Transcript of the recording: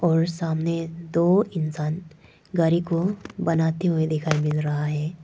और सामने दो इंसान गाड़ी को बनाते हुए दिखाई दे रहा है।